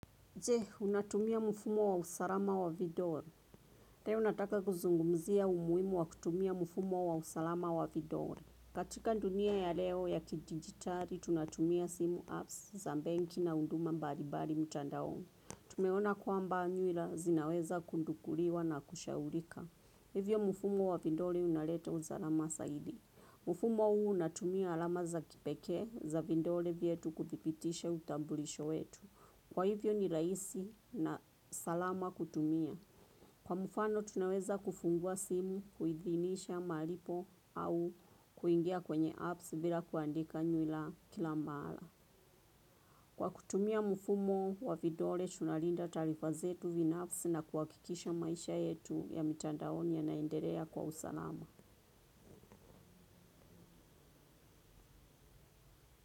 Je, unatumia mfumo wa usalama wa vidole. Teo nataka kuzungumzia umuhimu wa kutumia mfumo wa usalama wa vidole. Katika dunia ya leo ya kidijitari, tunatumia simu apps, za bengi na unduma mbalibali mtandaoni. Tumeona kwamba nyuila zinaweza kundukuliwa na kushaurika. Hivyo mfumo wa vidole unaleta uzalama saidi. Mfumo huu unatumia alama za kipeke, za vidole vyetu kuthibitisha utambulisho wetu. Kwa hivyo ni rahisi na salama kutumia. Kwa mfano tunaweza kufungua simu, kuidhinisha, malipo au kuingia kwenye apps bila kuandika nyuila kila mala. Kwa kutumia mfumo wa vidole, tunalinda tarifa zetu vina apps na kuhakikisha maisha yetu ya mitandaoni ya naenderea kwa usalama.